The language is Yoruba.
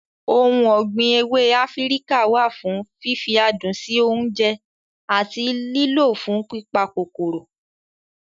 Ohun ọ̀gbìn ewé Áfíríkà wà fún fífi adùn sí oúnjẹ àti lílọ̀ fún pípa kòkòrò.